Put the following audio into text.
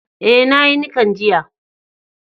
Eh, na yi nikan jiya.